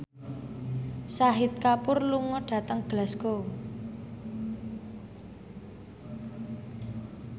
Shahid Kapoor lunga dhateng Glasgow